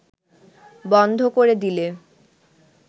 বন্ধ করে দিলে